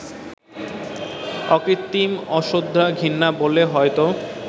অকৃত্রিম অশ্রদ্ধা-ঘৃণা বললে হয়তো